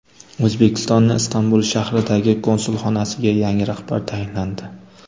O‘zbekistonning Istanbul shahridagi konsulxonasiga yangi rahbar tayinlandi.